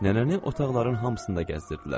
Nənəni otaqların hamısında gəzdirdilər.